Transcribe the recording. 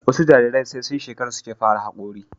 wasu Jarirai sai sun shekara suke fara hakori